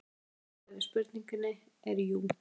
Stutta svarið við spurningunni er jú.